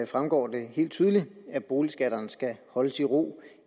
fremgår det helt tydeligt at boligskatterne skal holdes i ro